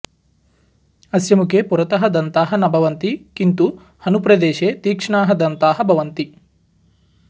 अस्य मुखे पुरतः दन्ताः न भवन्ति किन्तु हनुप्रदेशे तीक्ष्णाः दन्ताः भवन्ति